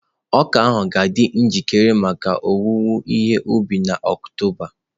Ọka ga-adị njikere maka owuwe ihe ubi na Oktoba.